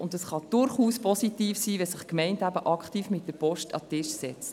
Und es kann durchaus positiv sein, wenn sich die Gemeinde aktiv mit der Post an den Tisch setzt.